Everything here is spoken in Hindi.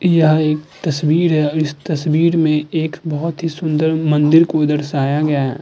यह एक तस्वीर है और इस तस्वीर में एक बहोत ही सुंदर मंदिर को दर्शाया गया है।